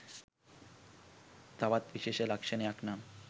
තවත් විශේෂ ලක්‍ෂණයක් නම්